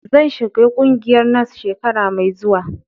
Zan shiga ƙungiyar NANS shekara mai zuwa.